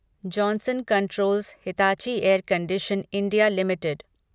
Johnson controls Hitachi air condition India limited